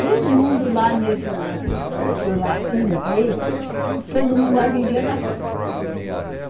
Todo mundo lá nesse lugar que eu morava, que eu nasci, me criei, todo mundo lá vivia da roça.